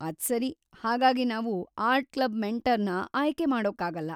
ಅದ್ಸರಿ, ಹಾಗಾಗಿ ನಾವು art club ಮೆಂಟರ್‌ನ ಆಯ್ಕೆ ಮಾಡೋಕ್ಕಾಗಲ್ಲ.